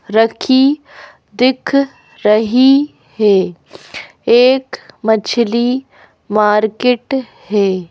रखी दिख रही है एक मछली मार्केट है।